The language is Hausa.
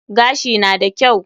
Gashi na da kyau.